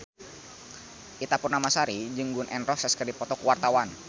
Ita Purnamasari jeung Gun N Roses keur dipoto ku wartawan